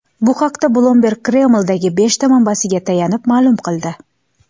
Bu haqda Bloomberg Kremldagi beshta manbasiga tayanib, ma’lum qildi .